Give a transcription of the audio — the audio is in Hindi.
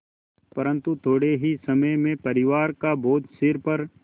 परन्तु थोडे़ ही समय में परिवार का बोझ सिर पर